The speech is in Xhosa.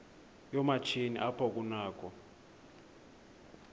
yoomatshini apho kunakho